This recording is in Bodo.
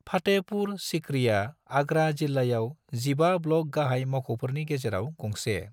फतेहपुर सीकरीया आगरा जिल्लायाव जिबा ब्लक गाहाय मावख'फोरनि गेजेराव गंसे।